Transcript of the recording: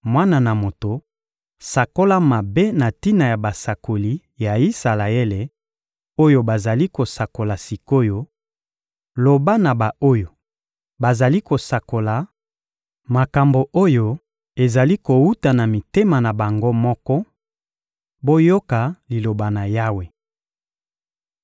«Mwana na moto, sakola mabe na tina na basakoli ya Isalaele, oyo bazali kosakola sik’oyo; loba na ba-oyo bazali kosakola makambo oyo ezali kowuta na mitema na bango moko: ‹Boyoka Liloba na Yawe!